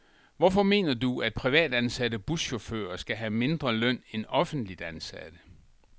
Hvorfor mener du, at privatansatte buschauffører skal have mindre løn end offentligt ansatte?